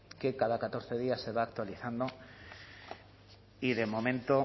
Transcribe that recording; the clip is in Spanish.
que cada catorce días se va actualizando y de momento